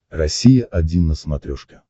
россия один на смотрешке